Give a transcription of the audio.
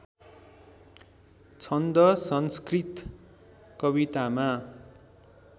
छन्द संस्कृत कवितामा